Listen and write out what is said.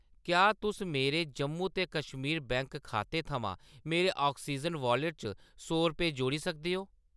क्या तुस मेरे जम्मू ते कश्मीर बैंक खाते थमां मेरे आक्सीजन वाॅलेट च सौ रपेऽ जोड़ी सकदे ओ ?